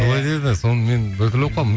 солай деді соны мен біртүрлі болып қалдым